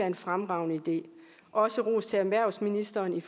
en fremragende idé også ros til erhvervsministeren